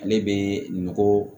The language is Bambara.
Ale bɛ nɔgɔ